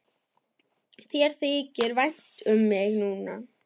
Þér þykir vænt um mig núna.